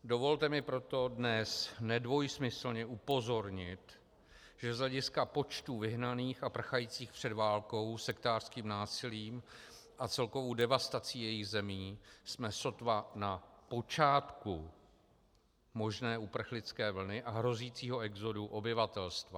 Dovolte mi proto dnes nedvojsmyslně upozornit, že z hlediska počtů vyhnaných a prchajících před válkou, sektářským násilím a celkovou devastací jejich zemí jsme sotva na počátku možné uprchlické vlny a hrozícího exodu obyvatelstva.